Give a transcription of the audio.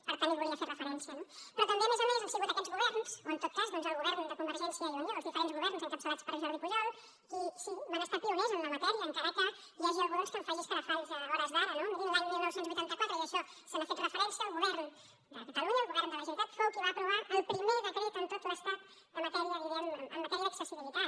per tant hi volia fer referència no però també a més a més han sigut aquests governs o en tot cas doncs el govern de convergència i unió els diferents governs encapçalats per jordi pujol els que sí van ser pioners en la matèria encara que hi hagi algú que en faci escarafalls a hores d’ara no mirin l’any dinou vuitanta quatre i a això s’hi ha fet referència el govern de catalunya el govern de la generalitat fou el que va aprovar el primer decret en tot l’estat en matèria d’accessibilitat